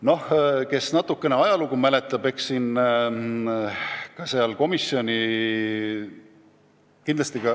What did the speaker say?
Loodan, et keegi mäletab natukene ka ajalugu.